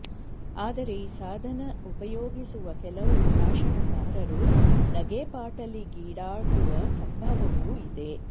ಆದರೆ ಈ ಸಾಧನ ಉಪಯೋಗಿಸುವ ಕೆಲವು ಭಾಷಣಕಾರರು ನಗೆಪಾಟಲಿಗೀಡಾಗುವ ಸಂಭವವೂ ಇದೆ